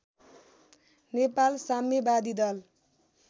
नेपाल साम्यवादी दल